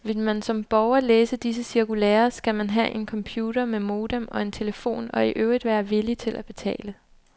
Vil man som borger læse disse cirkulærer, skal man have en computer med modem og en telefon og i øvrigt være villig til at betale.